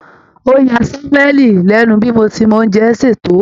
Ó ya Sámúẹ́lì lẹ́nu bí mo ṣe mọ oúnjẹ sè tó